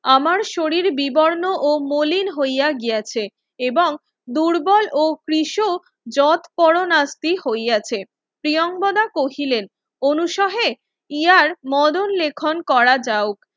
আমার শরীর বিবর্ণ ও মলিন হইয়া গিয়াছে এবং দুর্বল ও পৃষ যত পরণাশ্রী হইয়াছে প্রিয়াঙ্গদা কহিলেন অনুসাহে ইহার মদন লেখন করা যাও